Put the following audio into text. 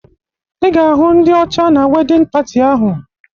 Ị ga-ahụ ndị ọcha na wedịn pati ahụ